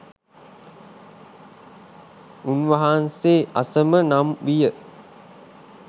උන්වහන්සේ අසම නම් විය.